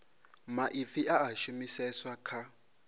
maipfi a a shumiseswa kha